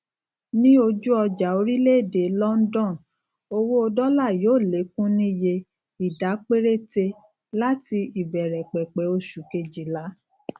ní ojú ọjà orílèèdè london owó dólà yóò lékún níye ìdá péréte láti ìbèrèpèpè oṣù kejìlá